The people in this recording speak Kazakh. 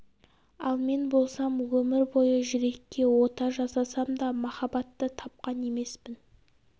ал мен болсам өмір бойы жүрекке ота жасасам да махаббатты тапқан емеспін